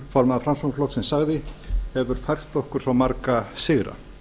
formaður framsóknarflokksins sagði hefur fært okkur svo marga sigra